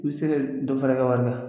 U bɛ se ka dɔ fara i kɛ wari kan